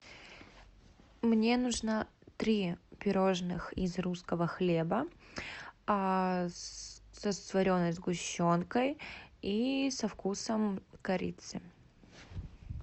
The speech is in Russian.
мне нужно три пироженных из русского хлеба со свареной сгущенкой и со вкусом корицы